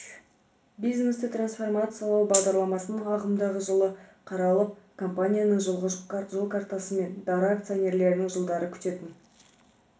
бизнесті трансформациялау бағдарламасының ағымдағы жайы қаралып компанияның жылғы жол картасы мен дара акционерінің жылдары күтетін